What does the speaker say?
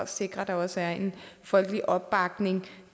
sikrer at der også er en folkelig opbakning